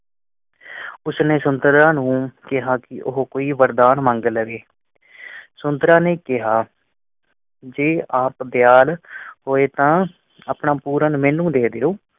ਉਸਨੇ ਸੁੰਦਰਾਂ ਨੂੰ ਕਿਹਾ ਕਿ ਉਹ ਕੋਈ ਵਰਦਾਨ ਮੰਗ ਲਵੇ। ਸੁੰਦਰਾਂ ਨੇ ਕਿਹਾ, ਜੇ ਆਪ ਦਯਾਲ ਹੋਏ ਤਾਂ ਆਪਣਾ ਪੂਰਨ ਮੈਨੂੰ ਦੇਂ ਦਯੋ।